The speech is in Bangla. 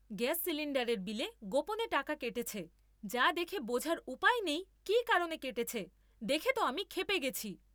গ্যাস সিলিন্ডারের বিলে গোপনে টাকা কেটেছে যা দেখে বোঝার উপায় নেই কী কারণে কেটেছে, দেখে তো আমি ক্ষেপে গেছি!